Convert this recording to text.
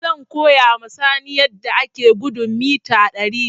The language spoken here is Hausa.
Zan koya ma Sani yadda ake gudun mita ɗari